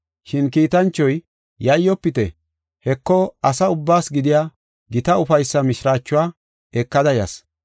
Shin kiitanchoy, “Yayyofite! Heko, asaa ubbaas gidiya gita ufaysaa mishiraachuwa ekada yas.